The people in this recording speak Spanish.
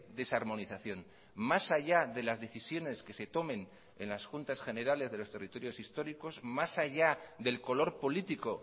desarmonización más allá de las decisiones que se tomen en las juntas generales de los territorios históricos más allá del color político